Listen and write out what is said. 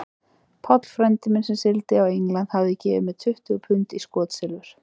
Páll frændi minn, sem sigldi á England, hafði gefið mér tuttugu pund í skotsilfur.